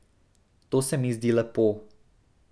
To se mi zdi zelo lepo.